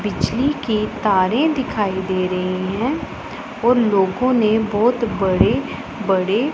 बिजली की तारें दिखाई दे रही हैं और लोगों ने बहुत बड़े बड़े--